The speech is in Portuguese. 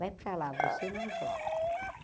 Vai para lá, você não joga.